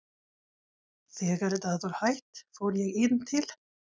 Þegar það var hætt fór ég inn til